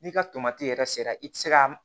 N'i ka tomati yɛrɛ sera i tɛ se ka